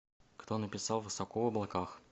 кто написал высоко в облаках